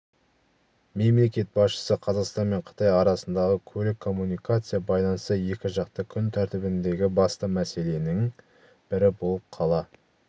мемлекет басшысы қазақстан мен қытай арасындағы көлік-коммуникация байланысы екіжақты күн тәртібіндегі басты мәселенің бірі болып қала